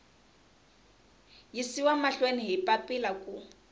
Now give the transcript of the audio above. yisiwa mahlweni hi papila ku